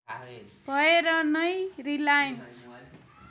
भएर नै रिलायन्स